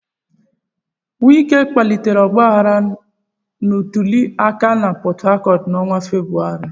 Wike kpalitere ọgbaghara ntuli aka na Port Harcourt n'ọnwa Febụwarị.